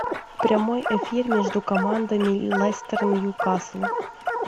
прямой эфир между командами лестер ньюкасл